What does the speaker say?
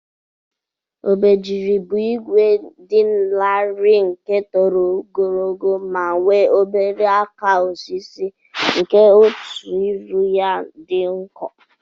Obejiri bu igwe di lari nke toro ogologo ma nwe obere aka osisi nke otu iru ya di nko.